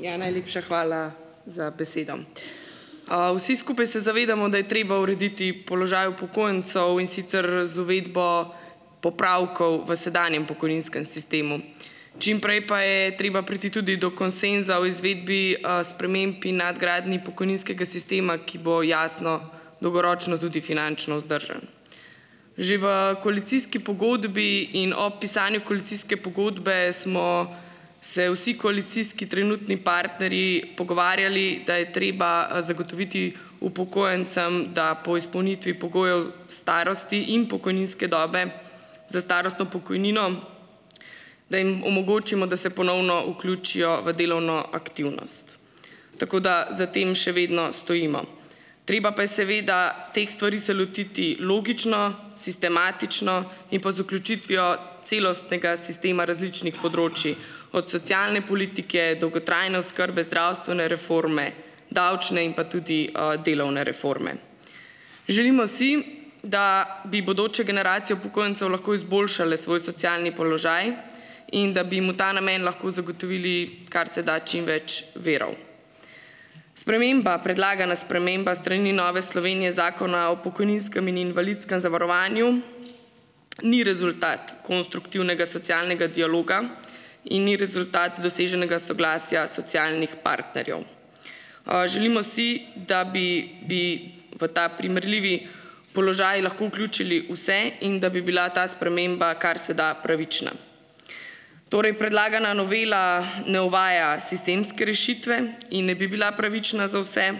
Ja, Najlepša hvala za besedo. Vsi skupaj se zavedamo, da je treba urediti položaj upokojencev, in sicer, z uvedbo popravkov v sedanjem sistemu pokojninskem. Čim prej pa je treba priti tudi do konsenza o izvedbi, sprememb in nadgradnji pokojninskega sistema, ki bo jasno dolgoročno tudi finančno vzdržen. Že v koalicijski pogodbi in ob pisanju koalicijske pogodbe smo se vsi koalicijski trenutni partnerji pogovarjali, da je treba, zagotoviti upokojencem, da po izpolnitvi pogojev starosti in pokojninske dobe za starostno pokojnino, da jim omogočimo, da se ponovno vključijo v delovno aktivnost. Tako da za tem še vedno stojimo. Treba pa je seveda teh stvari se lotiti logično, sistematično in pa z vključitvijo celostnega sistema različnih področij od socialne politike, dolgotrajne oskrbe zdravstvene reforme, davčne in pa tudi, delovne reforme. Želimo si, da bi bodoče generacije upokojencev lahko izboljšale svoj socialni položaj in da bi jim v ta namen lahko zagotovili karseda čim več virov. Sprememba, predlagana sprememba s strani Nove Slovenije Zakona o pokojninskem in invalidskem zavarovanju ni rezultat konstruktivnega socialnega dialoga in ni rezultat doseženega soglasja socialnih partnerjev. Želimo si, da bi bi v ta primerljivi položaj lahko vključili vse in da bi bila ta sprememba karseda pravična. Torej predlagana novela ne uvaja sistemske rešitve in ne bi bila pravična za vse,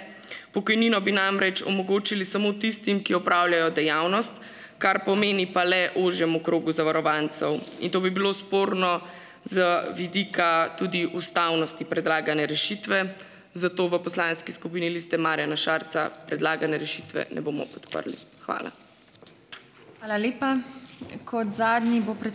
pokojnino bi namreč omogočili samo tistim, ki opravljajo dejavnost, kar pomeni pa le ožjemu krogu zavarovancev. In to bi bilo sporno z vidika tudi ustavnosti predlagane rešitve. Zato v Poslanski skupini Liste Marjana Šarca predlagane rešitve ne bomo podprli. Hvala.